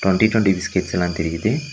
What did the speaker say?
Twenty twenty biscuits எல்லா தெரியுது.